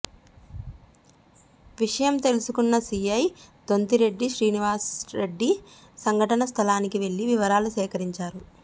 విషయం తెలుసుకున్న సీఐ దొంతిరెడ్డి శ్రీనివాస్రెడ్డి సంఘటన స్థలానికి వెళ్లి వివరాలు సేకరించారు